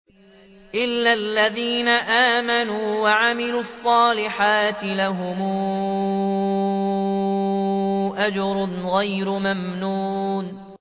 إِلَّا الَّذِينَ آمَنُوا وَعَمِلُوا الصَّالِحَاتِ لَهُمْ أَجْرٌ غَيْرُ مَمْنُونٍ